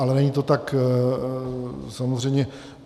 Ale není to tak samozřejmě...